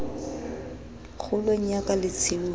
kgolong ya ka le tshiung